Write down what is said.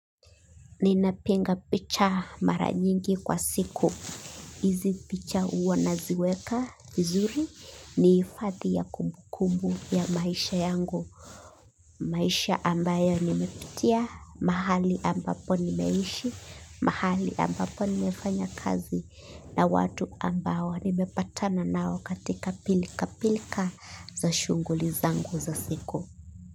Ninapinga picha mara nyingi kwa siku. Izi picha huwa naziweka, vizuri, ni hifadhi ya kumbukumbu ya maisha yangu. Maisha ambayo nimepitia, mahali ambapo nimeishi, mahali ambapo nimefanya kazi, na watu ambao nimepatana nao katika pilkapilka za shughuli zangu za siku.